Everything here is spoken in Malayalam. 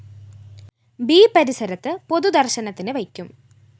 ബി പരിസരത്ത് പൊതുദര്‍ശനത്തിനു വെക്കും